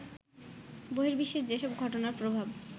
বর্হিবিশ্বের যেসব ঘটনার প্রভাব